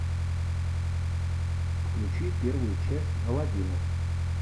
включи первую часть алладина